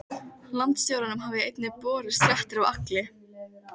Landstjóranum hafa einnig borist fréttir af Agli